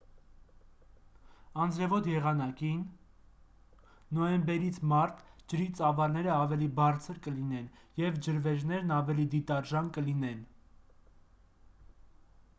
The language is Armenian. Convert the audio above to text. անձրևոտ եղանակին նոյեմբերից մարտ ջրի ծավալները ավելի բարձր կլինեն և ջրվեժներն ավելի դիտարժան կլինեն։